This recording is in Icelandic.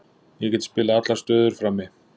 Ég get spilað allar stöður frammi.